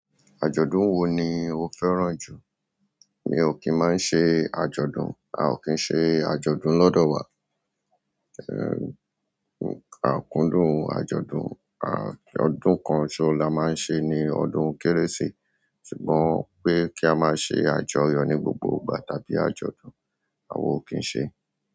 Àjọ̀dún wo ni o fẹ́ràn jù? Mi ò kín máa ń ṣe àjọ̀dún, a ò kín ṣe àjọ̀dún lọ́dọ̀ wa. A o kun dùn àjọ̀dún, ah, ah ọdún kan sooso ti a maa n se ni ọdún kérésì. Ṣùgbọ́n pé kí a máa ṣe àjọyọ̀ ní gbogbo ìgbà tàbí àjọ̀dún a ò kín ṣe.